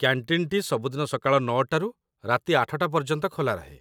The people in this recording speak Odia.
କ‍୍ୟାଣ୍ଟିନ୍‌‌ଟି ସବୁଦିନ ସକାଳ ୯ଟାରୁ ରାତି ୮ଟା ପର୍ଯ୍ୟନ୍ତ ଖୋଲା ରହେ |